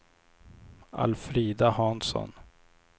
Alfrida Hansson